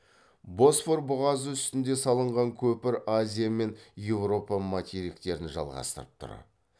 босфор бұғазы үстінде салынған көпір азия мен еуропа материктерін жалғастырып тұр